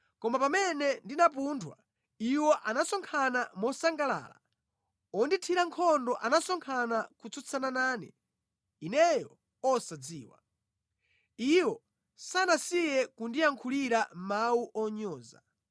Koma pamene ndinaphunthwa, iwo anasonkhana mosangalala; ondithira nkhondo anasonkhana kutsutsana nane, ineyo osadziwa. Iwo sanasiye kundiyankhulira mawu onyoza.